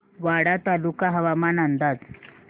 वाडा तालुका हवामान अंदाज